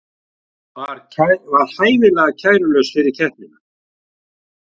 Var hæfilega kærulaus fyrir keppnina